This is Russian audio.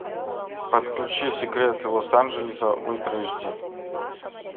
подключи секреты лос анджелеса ультра эйч ди